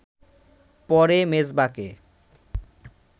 পরে মেজবাকে